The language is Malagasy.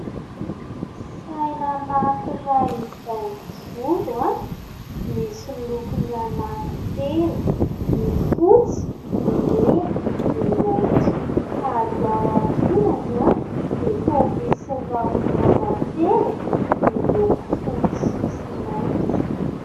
Saina anankiray izay mijoro. Misy lokony anankin-telo : ny fotsy, ny mena, ny maintso ary ao aoriany dia toy misy rahona matevina miloko fotsy sy mainty.